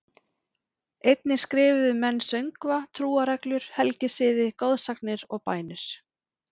Einnig skrifuðu menn söngva, trúarreglur, helgisiði, goðsagnir og bænir.